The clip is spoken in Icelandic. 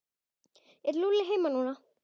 Er Lúlli heima núna?